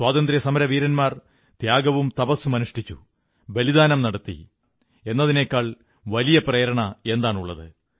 സ്വാതന്ത്ര്യസമരവീരന്മാർ ത്യാഗവും തപസ്സും അനുഷ്ഠിച്ചു ബലിദാനം നടത്തി എന്നതിനേക്കാൾ വലിയ പ്രേരണയെന്താണുള്ളത്